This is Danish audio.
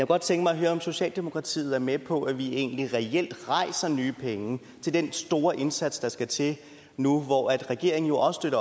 godt tænke mig at høre om socialdemokratiet er med på at vi egentlig reelt rejser nye penge til den store indsats der skal til nu hvor regeringen jo også